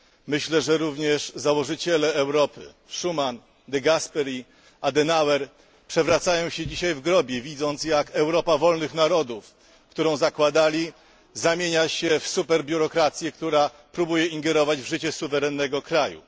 Myślę, że również założyciele Europy Schuman, de Gasperi, Adenauer przewracają się dzisiaj w grobie, widząc, jak Europa wolnych narodów, którą zakładali, zamienia się w superbiurokrację, która próbuje ingerować w życie suwerennego kraju.